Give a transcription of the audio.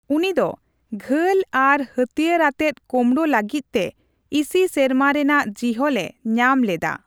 ᱩᱱᱤ ᱫᱚ ᱜᱷᱟᱹᱞ ᱟᱨ ᱦᱟᱹᱛᱭᱟᱹᱨ ᱟᱛᱮᱫ ᱠᱳᱢᱲᱳ ᱞᱟᱹᱜᱤᱫ ᱛᱮ ᱤᱥᱤ ᱥᱮᱨᱢᱟ ᱨᱮᱱᱟᱜ ᱡᱤᱦᱚᱞ ᱮ ᱧᱟᱢ ᱞᱮᱫᱟ ᱾